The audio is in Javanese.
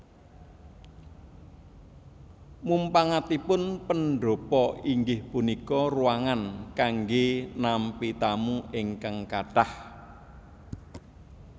Munpangatipun pendhapa inggih punika ruangan kanggé nampi tamu ingkang kathah